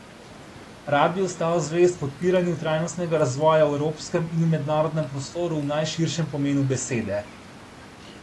Rad bi ostal zvest podpiranju trajnostnega razvoja v evropskem in v mednarodnem prostoru v najširšem pomenu besede.